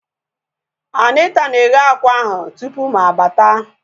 Anita na-eghe akwa ahu tupu mụ abata